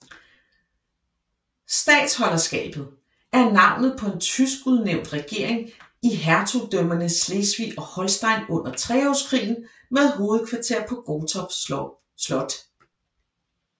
Statholderskabet er navnet på en tysk udnævnt regering i hertugdømmerne Slesvig og Holsten under Treårskrigen med hovedkvarter på Gottorp Slot